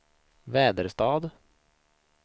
Väderstad